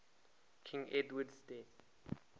king edward's death